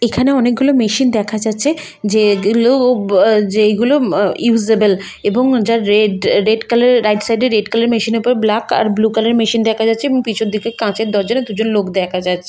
এখানে অনেকগুলো মেশিন দেখা যাচ্ছে যে যেগুলো আহ যেগুলো মা ইউজেবেল এবং যার রেড রেড কালার এর রাইট সাইডে রেড কালার মেশিনের উপর ব্ল্যাক আর ব্লু কালার এর মেশিন দেখা যাচ্ছে এবং পিছন দিকে কাঁচের দরজা না দুজন লোক দেখা যাচ্ছে।